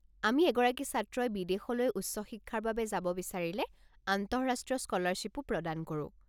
আমি এগৰাকী ছাত্ৰই বিদেশলৈ উচ্চ শিক্ষাৰ বাবে যাব বিচাৰিলে আন্তঃৰাষ্ট্ৰীয় স্কলাৰশ্বিপো প্ৰদান কৰো।